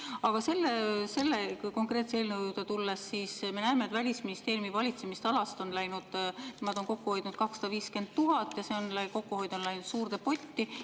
Aga kui selle konkreetse eelnõu juurde tulla, siis me näeme, et Välisministeeriumi valitsemisalas on kokku hoitud 250 000 eurot ja see kokkuhoitu on läinud suurde potti.